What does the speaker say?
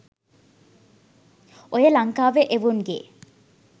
ඔය ලංකාවෙ එවුන්ගෙ